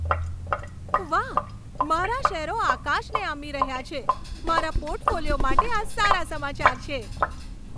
વાહ, મારા શેરો આકાશને આંબી રહ્યા છે! મારા પોર્ટફોલિયો માટે આ સારા સમાચાર છે.